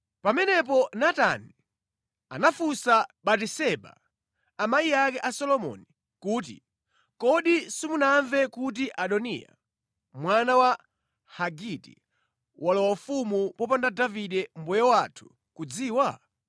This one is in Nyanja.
Pamenepo Natani anafunsa Batiseba, amayi ake a Solomoni, kuti, “Kodi simunamve kuti Adoniya, mwana wa Hagiti, walowa ufumu popanda Davide mbuye wathu kudziwa?